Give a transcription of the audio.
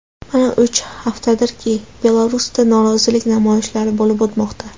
Mana uch haftadirki Belarusda norozilik namoyishlari bo‘lib o‘tmoqda.